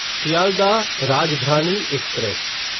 Sealdah Rajdhani express